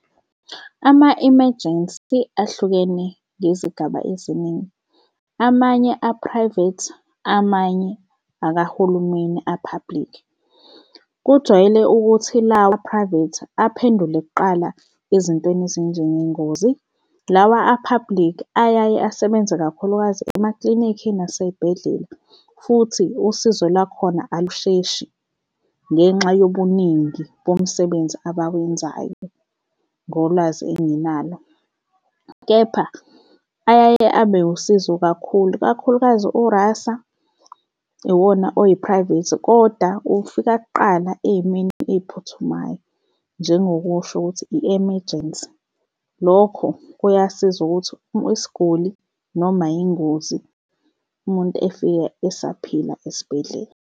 Ama-emergency ahlukene ngezigaba eziningi. Amanye a-private, amanye akahulumeni a-public. Kujwayele ukuthi lawa a-private aphendule kuqala ezintweni ezinjengengozi, lawa a-public ayaye asebenze kakhulukazi emaklinikhi nasey'bhedlela, futhi usizo lwakhona alusheshi ngenxa yobuningi bomsebenzi abawenzayo ngolwazi enginalo. Kepha ayaye abe usizo kakhulu, ikakhulukazi u-Rasa iwona oyi-private, kodwa ufika kuqala ey'meni ey'phuthumayo njengokusho ukuthi i-emergency. Lokho kuyasiza ukuthi isiguli noma yingozi umuntu efika esaphila esibhedlela.